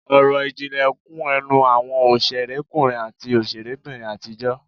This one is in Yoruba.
Ọ̀rọ̀ ìjìnlẹ̀ kún ẹnu àwọn òṣèrékùnrin àti òṣèrébìnrin àtijọ́